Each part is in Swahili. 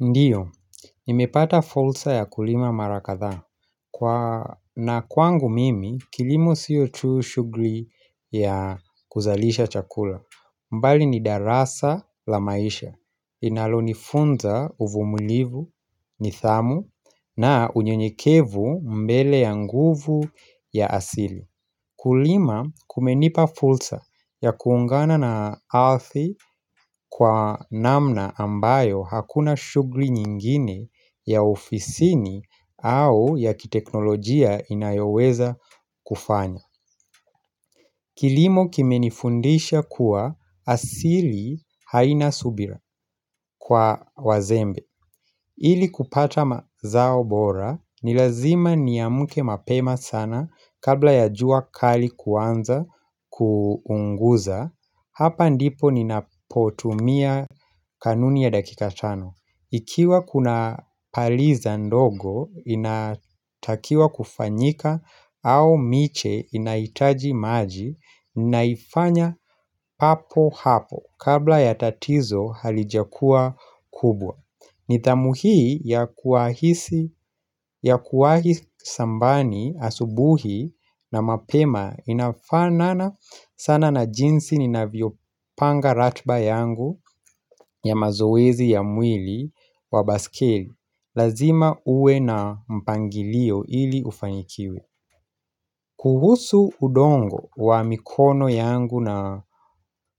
Ndio, nimepata fulsa ya kulima mara kadhaa na kwangu mimi kilimo sio tu shughuli ya kuzalisha chakula mbali ni darasa la maisha Inalonifunza uvumulivu nithamu na unyenyekevu mbele ya nguvu ya asili Kulima kumenipa fulsa ya kuungana na althi kwa namna ambayo hakuna shughuli nyingine ya ofisini au ya kiteknolojia inayoweza kufanya. Kilimo kimenifundisha kuwa asili haina subira kwa wazembe. Ili kupata mazao bora ni lazima niamke mapema sana kabla ya jua kali kuanza kuunguza Hapa ndipo ninapotumia kanuni ya dakika tano Ikiwa kuna paliza ndogo inatakiwa kufanyika au miche inahitaji maji ninaifanya papo hapo kabla ya tatizo halijakua kubwa nidhamu hii ya kuahisi ya kuwahi sambani asubuhi na mapema inafanana sana na jinsi ninavyopanga ratba yangu ya mazoezi ya mwili wa baskeli. Lazima uwe na mpangilio ili ufanikiwe. Kuhusu udongo wa mikono yangu na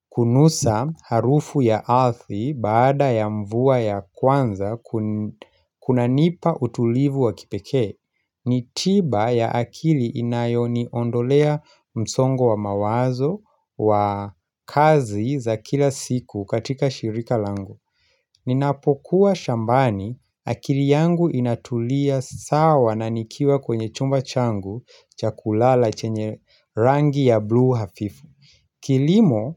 kunusa harufu ya athi baada ya mvua ya kwanza kunanipa utulivu wa kipekee, ni tiba ya akili inayoniondolea msongo wa mawazo wa kazi za kila siku katika shirika langu. Ninapokuwa shambani akiri yangu inatulia sawa na nikiwa kwenye chumba changu cha kulala chenye rangi ya blue hafifu Kilimo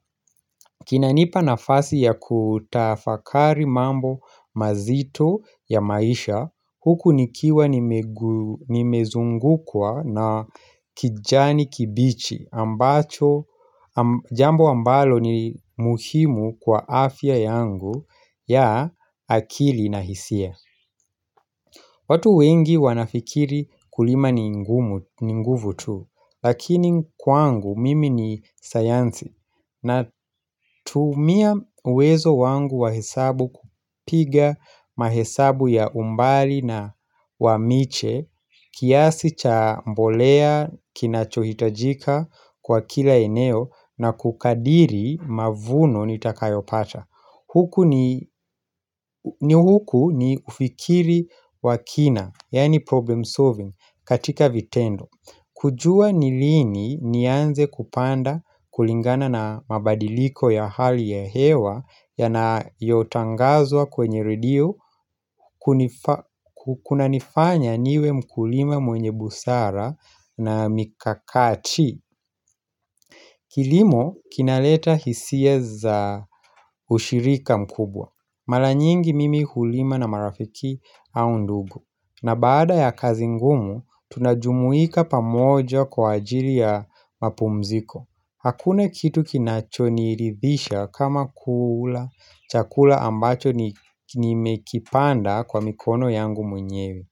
kinanipa nafasi ya kutafakari mambo mazito ya maisha huku nikiwa nimezungukwa na kijani kibichi ambacho Jambo ambalo ni muhimu kwa afya yangu ya akili na hisia watu wengi wanafikiri kulima ni nguvu tu Lakini kwangu mimi ni sayansi Natumia uwezo wangu wa hesabu kupiga mahesabu ya umbali na wa miche kiasi cha mbolea kinachohitajika kwa kila eneo na kukadiri mavuno nitakayopata Huku ni ni huku ni ufikiri wa kina, yaani problem solving, katika vitendo kujua ni lini nianze kupanda kulingana na mabadiliko ya hali ya hewa Yanayotangazwa kwenye redio kunanifanya niwe mkulima mwenye busara na mikakati Kilimo kinaleta hisia za ushirika mkubwa Mala nyingi mimi hulima na marafiki au ndugu na baada ya kazi ngumu tunajumuika pamoja kwa ajili ya mapumziko Hakuna kitu kinachoniridhisha kama kula chakula ambacho nimekipanda kwa mikono yangu mwenyewe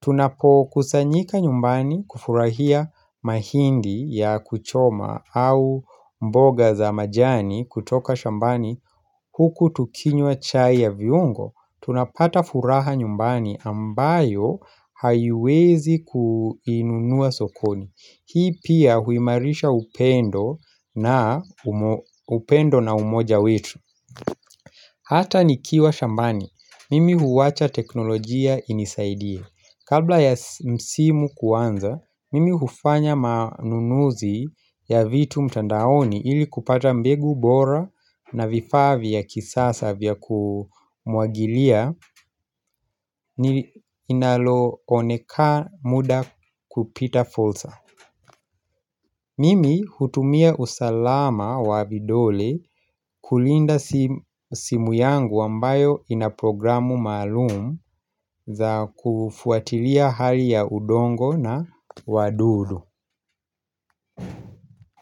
Tunapokusanyika nyumbani kufurahia mahindi ya kuchoma au mboga za majani kutoka shambani huku tukinywa chai ya viungo tunapata furaha nyumbani ambayo haiwezi kuinunua sokoni Hii pia huimarisha upendo na upendo na umoja wetu Hata nikiwa shambani, mimi huwacha teknolojia inisaidie Kabla ya msimu kuanza, mimi hufanya manunuzi ya vitu mtandaoni ili kupata mbegu bora na vifaa vya kisasa vya kumwagilia ni inalooneka muda kupita fulsa Mimi hutumia usalama wa vidole kulinda simu yangu ambayo inaprogramu maalum za kufuatilia hali ya udongo na wadudu.